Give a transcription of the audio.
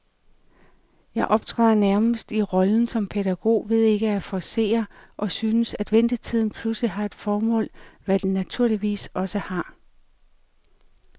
Jeg optræder nærmest i rollen som pædagog ved ikke at forcere, og synes, at ventetiden pludselig har et formål, hvad den naturligvis også har.